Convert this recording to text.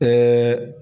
Ɛɛ